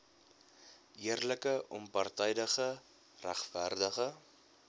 eerlike onpartydige regverdige